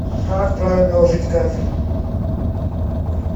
как правильно ложить кафель